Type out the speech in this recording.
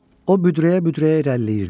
O büdrəyə-büdrəyə irəliləyirdi.